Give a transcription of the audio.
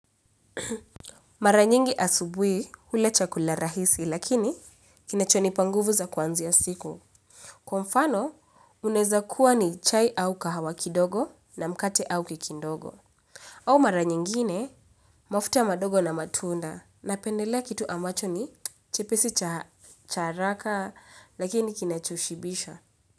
Mara nyingi asubui ula chakula rahisi lakini kinacho nipa nguvu za kwanziya siku. Kwa mfano uneza kuwa ni chai au kahawa kidogo na mkate au kekindogo. Au mara nyingine mafuta madogo na matunda napendela kitu ambacho ni chepesi cha haraka lakini kinacho shibisha.